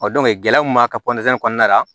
gɛlɛya mun b'a ka kɔnɔna la